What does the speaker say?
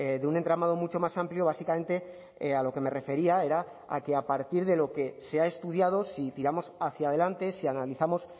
de un entramado mucho más amplio básicamente a lo que me refería era a que a partir de lo que se ha estudiado si tiramos hacia adelante si analizamos